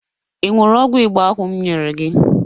Ị ṅụrụ ọgwụ Igbo ahụ m nyere gị?